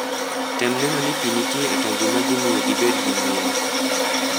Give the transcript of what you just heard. Tem neno ni pi nitie e tangi madhi miyo gibed gi ngima